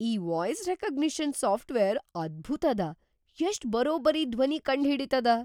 ಈ voice recognition software ಅದ್ಭುತ್‌ ಅದ! ಎಷ್ಟ್ ಬರೊಬ್ಬರಿ ಧ್ವನಿ ಕಂಡ್‌ ಹಿಡಿತದ!